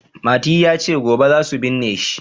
Mati ya ce "gobe za su binne shi".